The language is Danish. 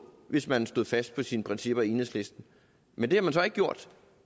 hvis man stod fast på sine principper i enhedslisten men det har man så ikke gjort